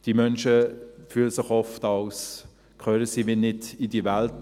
Diese Menschen fühlen sich oft, als gehörten sie nicht in diese Welt.